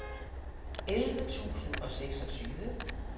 elleve tusind og seksogtyve